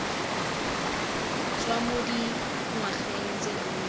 tswa mo dingwageng tse dintsi